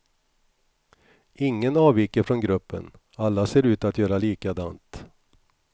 Ingen avviker från gruppen, alla ser ut att göra likadant.